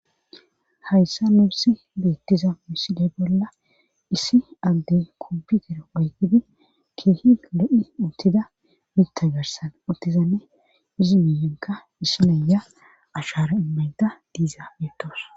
hayssa nusi beettiza misiley bolla issi agde komputer oygidi keehi lo7i uttida mitagarsan uttizanne izi miyinka issi naya ashara immayda diizara betawus